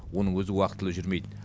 оның өзі уақытылы жүрмейді